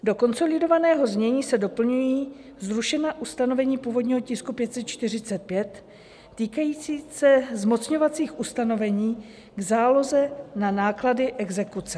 Do konsolidovaného znění se doplňují zrušená ustanovení původního tisku 545 týkající se zmocňovacích ustanovení k záloze na náklady exekuce.